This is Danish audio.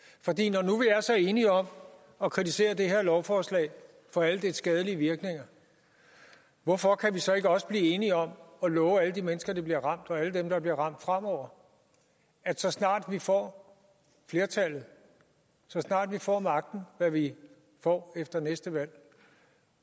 er så enige om at kritisere det her lovforslag for alle dets skadelige virkninger hvorfor kan vi så ikke også blive enige om at love alle de mennesker der bliver ramt og alle dem der bliver ramt fremover at så snart vi får flertallet så snart vi får magten hvad vi får efter næste valg